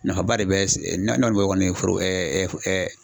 Nafaba de bɛ kɔni foro